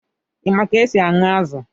Ị ma ka e si aṅụ azụ̀?